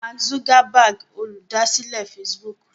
Mark Zuckerberg Olùdásílẹ̀ Facebook.